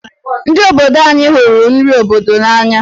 Ndi obodo anyi hụrụ nri obodo n'anya.